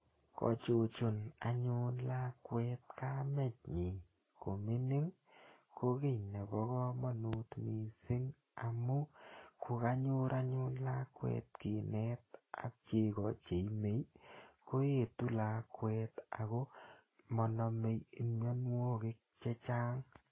Ko chuchun anyun lakwet kemenyi ko mining' ko ki nepo kamanut missing' amu ko kanyor anyun lakwet kinet ak cheko che inei ko etu lakwet ako manamei mianwogik che chang'.